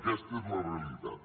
aquesta és la realitat